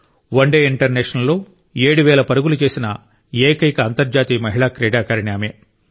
one day ఇంటర్నేషనల్స్లో ఏడు వేల పరుగులు చేసిన ఏకైక అంతర్జాతీయ మహిళా క్రీడాకారిణి ఆమె